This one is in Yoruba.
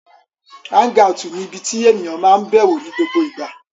Áúngaùtì níbi tí ènìyàn máa n bẹ̀wò ní gbogbo ìgbà